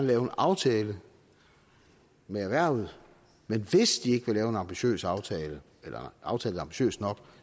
lave en aftale med erhvervet men hvis ikke de vil lave en ambitiøs aftale eller aftale ambitiøs nok